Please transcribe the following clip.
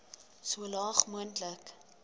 so laag moontlik